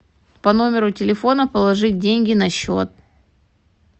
по номеру телефона положить деньги на счет